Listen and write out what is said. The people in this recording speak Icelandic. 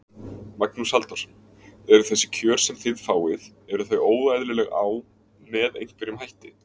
Magnús Halldórsson: Eru þessi kjör sem þið fáið, eru þau óeðlileg á, með einhverjum hætti?